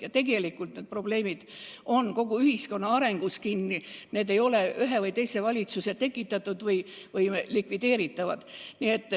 Ja tegelikult tulenevad need probleemid kogu ühiskonna arengust, need ei ole ühe või teise valitsuse tekitatud või likvideeritavad.